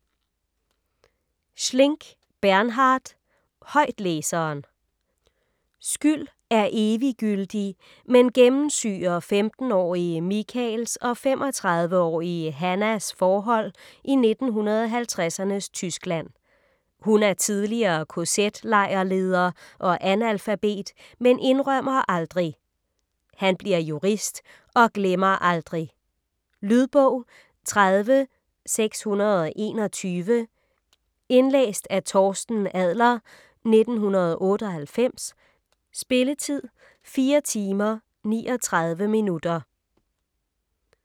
Schlink, Bernhard: Højtlæseren Skyld er eviggyldig, men gennemsyrer 15-årige Michaels og 35-årige Hannas forhold i 1950'ernes Tyskland. Hun er tidligere kz-lejrleder og analfabet, men indrømmer aldrig. Han bliver jurist og glemmer aldrig ... Lydbog 30621 Indlæst af Torsten Adler, 1998. Spilletid: 4 timer, 39 minutter.